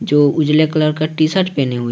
जो उजाले कलर का टी शर्ट पहने हुए।